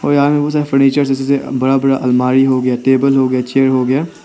Furnitures जैसे से बड़ा बड़ा अलमारी हो गया टेबल हो गया चेयर हो गया।